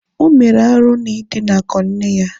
O mere arụ n'idinakọ nne ya